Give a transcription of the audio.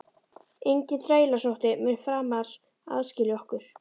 Enginn þrælsótti mun framar aðskilja okkur.